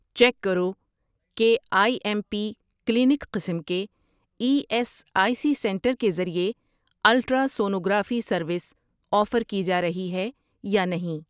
check کرو کہ I M P clinic قسم کے E S I C center کے ذریعے الٹراسونوگرافی سروس آفر کی جارہی ہے یا نہیں